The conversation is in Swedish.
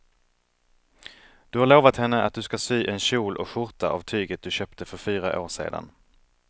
Du har lovat henne att du ska sy en kjol och skjorta av tyget du köpte för fyra år sedan.